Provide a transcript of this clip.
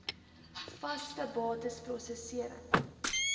vaste bates prosesserings